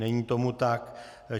Není tomu tak.